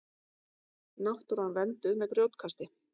Náttúran vernduð með grjótkasti